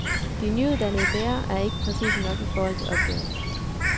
De nyuddannede lærer er ikke præcise nok i forhold til opgaven.